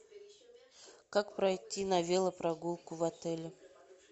как пройти на велопрогулку в отеле